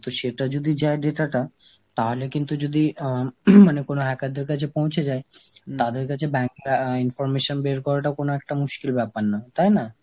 তো সেটা যদি যায় data টা তাহলে কিন্তু যদি আঁ মানে যদি কোন hacker দের কাছে পৌঁছে যায়, তাদের কাছে bank আঁ ইন information বের করাটাও কোন একটা মুশকিল ব্যাপার না তাই না?